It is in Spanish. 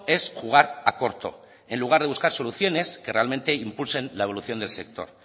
es jugar a corto en lugar de buscar soluciones que realmente impulsen la evolución del sector